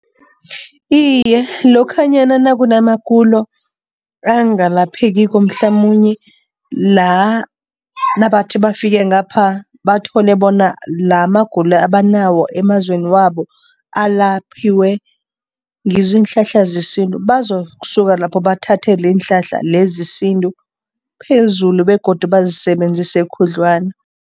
Iye, lokhanyana nakunamagulo angapheliko mhlamunye la nabathi bafike ngapha, bathole bona la amagulo abanawo emazweni wabo alaphiwe ngizo iinhlahla zesintu, bazokusuka lapho bathathele iinhlahla lezi zesintu phezulu begodu bazisebenzise khudlwana.